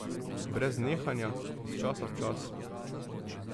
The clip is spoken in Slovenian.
Brez nehanja, iz časa v čas.